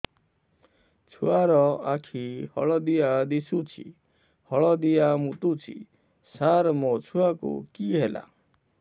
ଛୁଆ ର ଆଖି ହଳଦିଆ ଦିଶୁଛି ହଳଦିଆ ମୁତୁଛି ସାର ମୋ ଛୁଆକୁ କି ହେଲା